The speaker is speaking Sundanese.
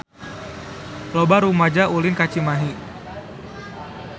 Loba rumaja ulin ka Cimahi